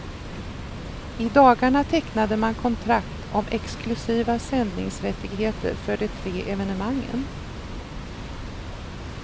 I dagarna tecknade man kontrakt om exklusiva sändningsrättigheter för de tre evenemangen.